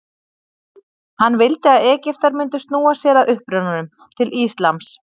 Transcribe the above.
Hann vildi að Egyptar mundu snúa sér að upprunanum, til íslams.